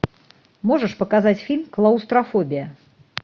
можешь показать фильм клаустрофобия